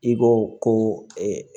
I ko ko